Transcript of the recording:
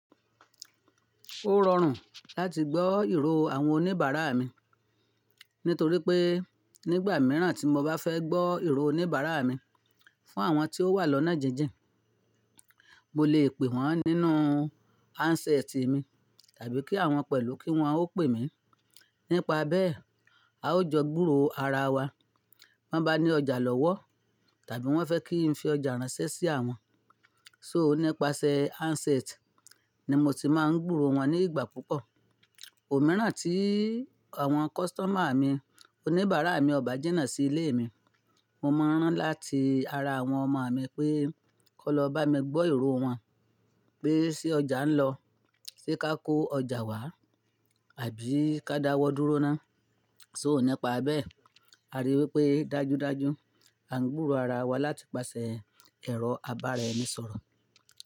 Ó rọrùn láti gbọ́ ìró àwọn oníbàárà mi nítorí pé nígbà mìíràn tí mo bá fẹ́ gbọ́ ìró oníbàárà mi fún àwọn tí ó wà lọ́nà jíjìn, mo lè pè wọ́n nínú handset mi tàbí kí awọ́n pẹ̀lú kí wọ́n ó pè mí. Nípa bẹ́ẹ̀, a ó jọ gbúro ara wa. Bọ́ n bá ní ọjà lọ́wọ́ tàbí wọ́n fẹ́ kí n fi ọjà ránṣẹ́ sí àwọn, so nípasẹ̀ handset ni mo ti máa ń gbúro wọn ní ìgbà púpọ̀. Ò mìíràn tí àwọn customer mi, oníbàárà mi ọba jìnnà sí ilé mi, mo máa n rán láti ara àwọn ọmọ mi pé kó lọ bá mi gbọ́ ìró wọn pé ṣe ọjà ń lọ, ṣe ká kó ọjà wá àbí ká dáwọ́ dúró ná. So nípa bẹ́ẹ̀, a rí i wipé dájúdájú a ń gbúro ara wa láti pasẹ̀ ẹ̀rọ àbára ẹ́ni sọ̀rọ̀